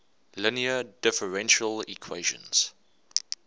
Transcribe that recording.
linear differential equations